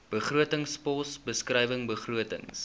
begrotingspos beskrywing begrotings